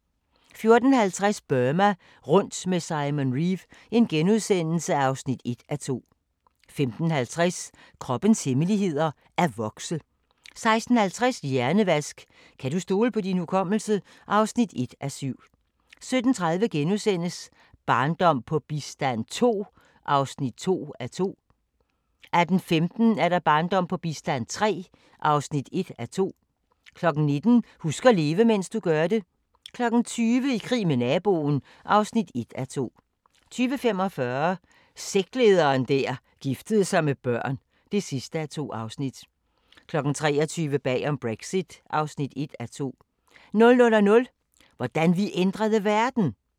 14:50: Burma rundt med Simon Reeve (1:2)* 15:50: Kroppens hemmeligheder: At vokse 16:50: Hjernevask – kan du stole på din hukommelse? (1:7) 17:30: Barndom på bistand II (2:2)* 18:15: Barndom på bistand III (1:2) 19:00: Husk at leve, mens du gør det 20:00: I krig med naboen (1:2) 20:45: Sektlederen der giftede sig med børn (2:2) 23:00: Bag om Brexit (1:2) 00:00: Hvordan vi ændrede verden!